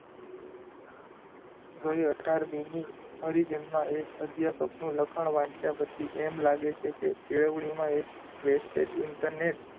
ગયી અઢારમી મી પરિજનમાં એ અધ્યાપકનું લખાણ વાંચ્યા પછી એમ લાગે છે કે કેળવણીમાં એક wastage internet